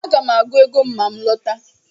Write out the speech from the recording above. Aga m agụ ego ma m lọta